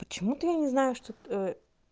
почему-то я не знаю что